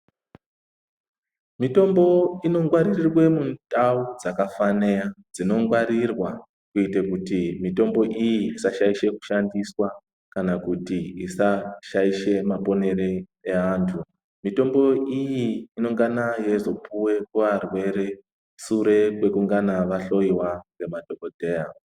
Mitombo inongwaririrwe mundau dzakafane dzinongwarirwa kuite kuti mitombo iyi isashaishe kushandiswa kana kuti isashaishe maponere eantu. Mitombo iyi inongana yeizopuwe kuantu, arwere, sure kwekungana ahloyiwa ngemadhogodheya.